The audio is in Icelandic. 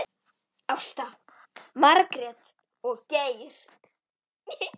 Ásta, Margrét og Geir.